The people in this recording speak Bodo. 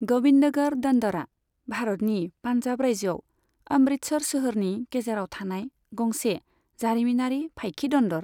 ग'बिन्दगढ़ दन्दरा भारतनि पान्जाब रायजोआव अमृतसर सोहोरनि गेजेराव थानाय गंसे जारिमिनारि फाइखि दन्दर।